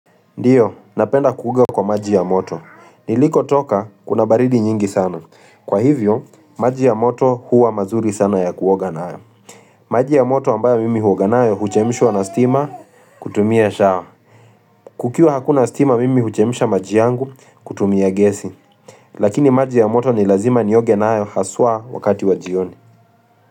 Ndiyo, napenda kuoga kwa maji ya moto. Nilikotoka, kuna baridi nyingi sana. Kwa hivyo, maji ya moto huwa mazuri sana ya kuoga nayo. Maji ya moto ambayo mimi huoga nayo, huchemshwa na stima, kutumia shower. Kukiwa hakuna stima, mimi huchemsha maji yangu, kutumia gesi. Lakini maji ya moto ni lazima nioge nayo, haswa wakati wa jioni.